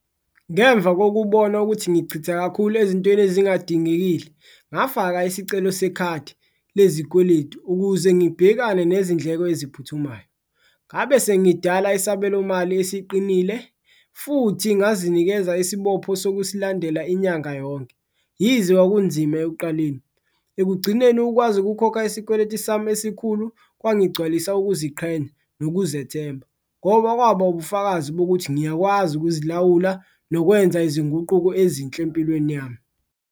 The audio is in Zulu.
Ngemva kokubona ukuthi ngichitha kakhulu ezintweni ezingadingekile ngafaka isicelo sekhadi lezikweletu ukuze ngibhekane nezindleko eziphuthumayo, ngabe sengidala isabelomali esiqinile futhi ngazinikeza isibopho sokusilandela inyanga yonke. Yize kwakunzima ekuqaleni ekugcineni ukwazi ukukhokha isikweletu sami esikhulu kwangigcwalisa ukuziqhenya nokuzethemba, ngoba kwaba ubufakazi bokuthi ngiyakwazi ukuzilawula nokwenza izinguquko ezinhle empilweni yami.